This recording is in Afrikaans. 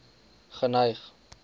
geneig